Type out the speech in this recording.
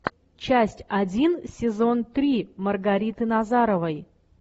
часть один сезон три маргариты назаровой